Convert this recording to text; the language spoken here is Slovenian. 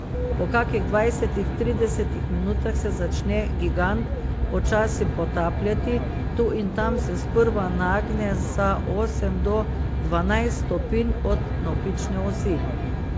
Po kakih dvajsetih, tridesetih minutah se začne gigant počasi potapljati, tu in tam se sprva nagne za osem do dvanajst stopinj od navpične osi.